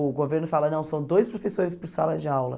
O governo fala, não, são dois professores por sala de aula.